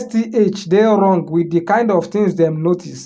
sth dey wrong with di kind of things dem notice